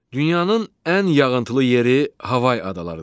Dünyanın ən yağıntılı yeri Havay adalarıdır.